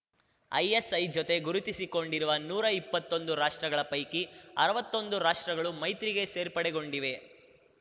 ISA ಜೊತೆ ಗುರುತಿಸಿಕೊಂಡಿರುವ ನೂರಾ ಇಪ್ಪತ್ತೊಂದು ರಾಷ್ಟ್ರಗಳ ಪೈಕಿ ಅರ್ವತ್ತೊಂದು ರಾಷ್ಟ್ರಗಳು ಮೈತ್ರಿಗೆ ಸೇರ್ಪಡೆಗೊಂಡಿವೆ